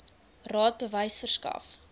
raad bewys verskaf